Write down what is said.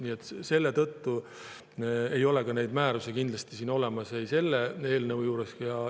Nii et selle tõttu ei ole ka neid määrusi siin selle eelnõu juures olemas.